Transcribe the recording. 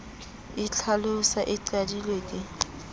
e itlhalosa e qadilwe ke